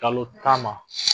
Kalo tan ma